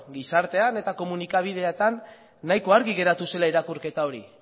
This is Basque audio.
gizartean eta komunikabideetan nahiko argi geratu zela irakurketa hori